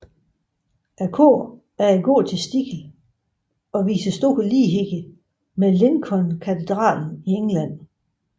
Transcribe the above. Koret er i gotisk stil og viser stor lighed med Lincolnkatedralen i England